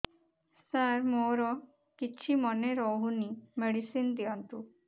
ସାର ମୋର କିଛି ମନେ ରହୁନି ମେଡିସିନ ଦିଅନ୍ତୁ